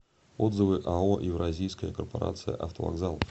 отзывы ао евразийская корпорация автовокзалов